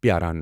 پیٛاران۔